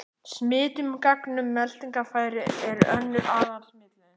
Smitun gegnum meltingarfæri er önnur aðal-smitleiðin.